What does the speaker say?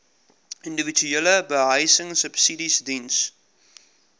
individuele behuisingsubsidies diens